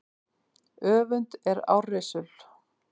Öfund er árrisul.